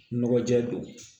Nɔgɔ jɛ don